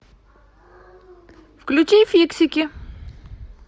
включи фиксики